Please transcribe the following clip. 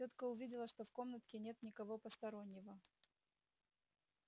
тётка увидела что в комнатке нет никого постороннего